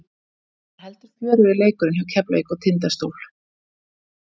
Hann var heldur fjörugri leikurinn hjá Keflavík og Tindastól.